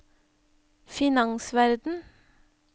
finansverden